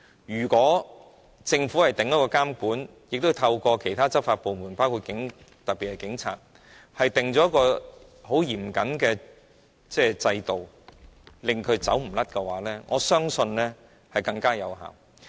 如果政府訂下監管，亦透過其他執法部門，特別是警察，訂立一個很嚴謹的制度，令他無路可逃的話，我相信更有效。